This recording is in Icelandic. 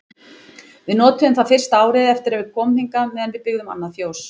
Við notuðum það fyrsta árið eftir að við komum hingað meðan við byggðum annað fjós.